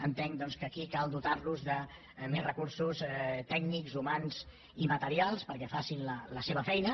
entenc doncs que aquí cal dotar los de més recursos tècnics humans i materials perquè facin la seva feina